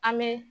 An bɛ